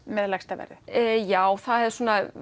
með lægsta verðið já það er